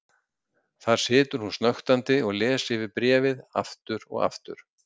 Þar situr hún snöktandi og les yfir bréfið aftur og aftur.